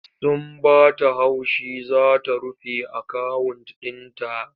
Sun ba ta haushi za ta rufe akawunt ɗin ta.